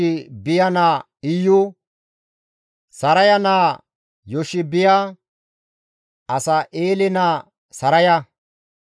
Iyu7eele, Yoshiibiya naa Iyu, (Saraya naa Yoshiibiya, Asa7eele naa Saraya,)